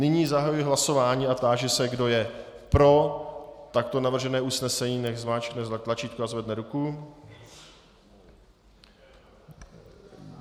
Nyní zahajuji hlasování a táži se, kdo je pro takto navržené usnesení, nechť zmáčkne tlačítko a zvedne ruku.